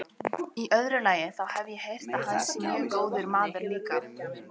Í öðru lagi, þá hef ég heyrt að hann sé mjög góður maður líka.